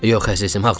Yox, əzizim, ağlama.